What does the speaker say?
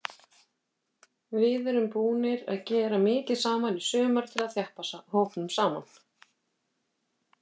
Við erum búnir að gera mikið saman í sumar til þess að þjappa hópnum saman.